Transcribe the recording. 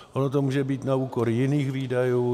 Ono to může být na úkor jiných výdajů.